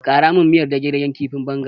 Ƙara min miyar dage-dagen kifin bonga.